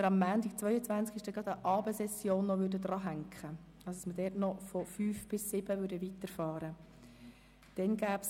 Am Montag, 22. 01. 2018, würden wir noch eine Abendsitzung von 17.00 bis 19.00 Uhr anhängen.